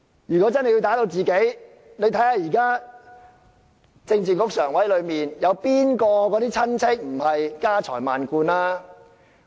如果真的會打擊自己人，請大家看看，在現時政治局常委中，哪個的親戚不是家財萬貫？